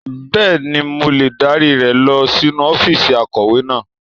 Bẹ́ẹ̀ni, mo lè dárí rẹ lọ sínú ọ́fíìsì akọ̀wé náà.